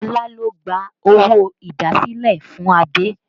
Olá ló gba owó idasile fún Adé